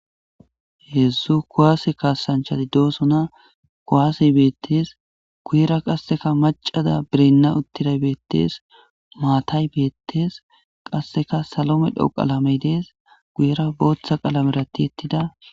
heedzdzu kuwaase kaasanchati doosona kowaase beettees guuyera qasseka macada birenna uttida beettees maatay beettees qasseka salome dhoo qalamey dees guyera booththa qalame rati ettida